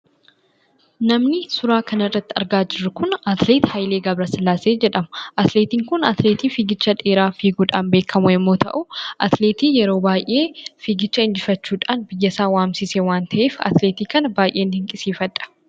Namni suuraa kana irratti argaa jirru kun, atileetii Haayilee Gebresillaasee jedhama. Atileetiin kun, atileetii fiigicha dheeraa fiiguudhaan kan beekamu yoo ta'u, atileetii yeroo baay'ee fiigicha injifachuudhan biyya isaa waamsise waan ta'eef, atileetii kana baay'een dinqisiifadha.